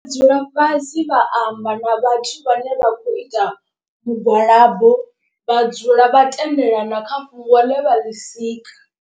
Dzula fhasi vha amba na vhathu vhane vha khou ita mugwalabo vha dzula vha tendelana kha fhungo ḽe vha ḽi sika.